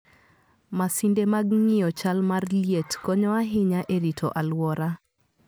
Masinde mag ng'iyo chal mar liet konyo ahinya e rito alwora.